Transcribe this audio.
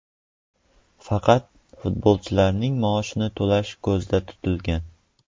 Faqat futbolchining maoshini to‘lashi ko‘zda tutilgan.